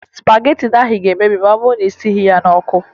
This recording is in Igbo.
Spagetị ahụ ga-emebi ma ọ bụrụ na ị sighi ya n'ọkụ